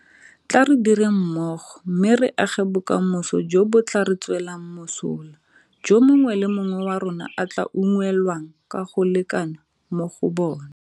Tla re direng mmogo mme re age bokamoso jo bo tla re tswelang mosola jo mongwe le mongwe wa rona a tla unngwelwang ka go lekana mo go bona.